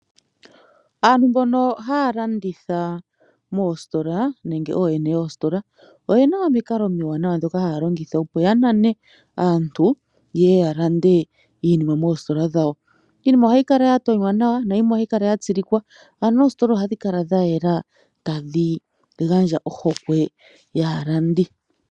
Aantu mbi halanditha moostola nenge oyene yeestola oyena omiikalo omiwanawa dhoka ha longitha opo ya nane aantu ye ya lande iinima moostola dhawo , iinima ohayi kala ya tonywa nawa , nayimwe ohayi kala yatsilikwa ano oostola ohadhikala dha yela tadhi gandja ohokwe yaalandi.